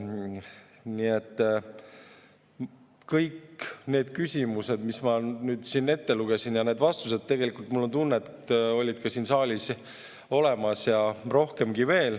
Nii et kõik need küsimused, mis ma siin ette lugesin, ja need vastused tegelikult, mul on tunne, olid ka siin saalis olemas ja rohkemgi veel.